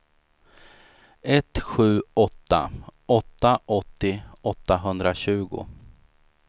ett sju åtta åtta åttio åttahundratjugo